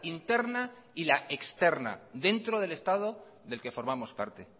interna y la externa dentro del estado del que formamos parte